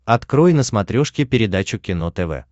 открой на смотрешке передачу кино тв